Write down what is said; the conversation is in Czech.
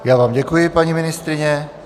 Já vám děkuji, paní ministryně.